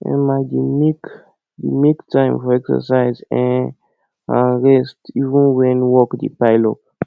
um i dey make dey make time for exercise um and rest even when work dey pile up